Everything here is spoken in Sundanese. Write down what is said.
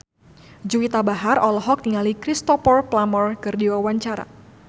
Juwita Bahar olohok ningali Cristhoper Plumer keur diwawancara